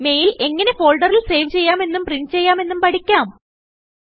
mail എങ്ങനെ ഫോൾഡറിൽ save ചെയ്യാമെന്നും പ്രിന്റ്ചെയ്യാമെന്നും പഠിക്കാം